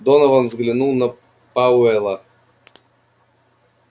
донован взглянул на пауэлла